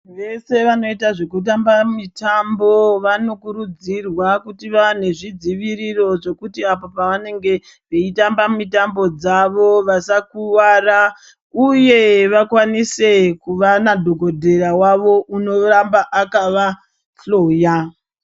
Vese vanoita zvekutamba mitambo vanokurudzirwa kuti vane zvidziviriro zvekuti apo pavanenge veitamba mitambo dzavo vasakuwara uye vakwanise kubva madhokodheya wavo unoramba akavahloya.